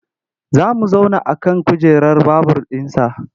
Za mu zauna a kan kujerar babur ɗinsa.